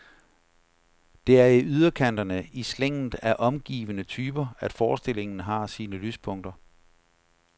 Det er i yderkanterne, i slænget af omgivende typer, at forestillingen har sine lyspunkter.